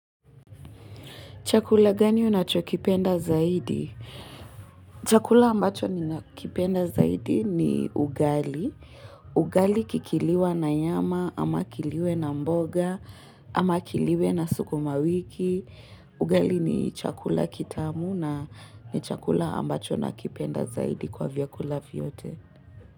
Chakula gani unachokipenda zaidi? Chakula ambacho ninakipenda zaidi ni ugali. Ugali ikiliwa na nyama, ama iliwe na mboga, ama iliwe na sukumawiki. Ugali ni chakula kitamu na ni chakula ambacho nakipenda zaidi kwa vyakula vyote.